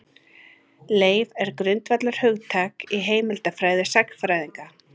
Leif er grundvallarhugtak í heimildafræði sagnfræðinga.